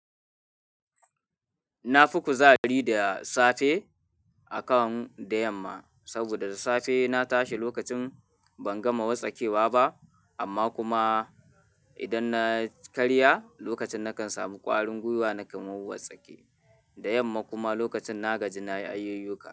Na fi kuzari da safe akan da yamma, saboda safe na tashi lokacin ban gama wartsakewa ba, amma kuma idan na karya lokacin, nakan samu kwarin gwiwa nake mawuwar tsake. Da yamma kuma lokacin na gaji na ayi yiyuka.